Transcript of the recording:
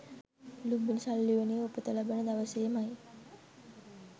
ලූම්බිණි සල් උයනේ උපත ලබන දවසේමයි